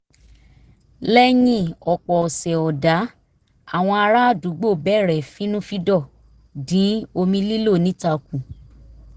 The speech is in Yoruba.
lẹ́yìn ọ̀pọ̀ ọ̀sẹ̀ ọ̀dá àwọn ará àdúgbò bẹ̀rẹ̀ fínnúfíndọ̀ dín omi lílò níta kù